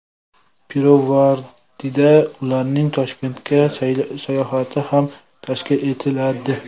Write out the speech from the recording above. Pirovardida, ularning Toshkentga sayohati ham tashkil etiladi.